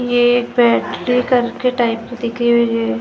ये बैटरी करके टाइप दिखे लोहे की।